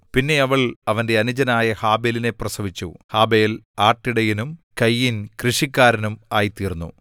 പിന്നെ അവൾ അവന്റെ അനുജനായ ഹാബെലിനെ പ്രസവിച്ചു ഹാബെൽ ആട്ടിടയനും കയീൻ കൃഷിക്കാരനും ആയിത്തീർന്നു